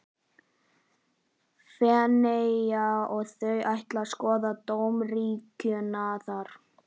Feneyja og þau ætla að skoða dómkirkjuna þar.